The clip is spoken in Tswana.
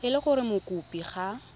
e le gore mokopi ga